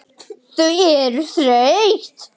Þau eru þreytt.